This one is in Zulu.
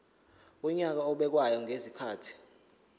wonyaka obekwayo ngezikhathi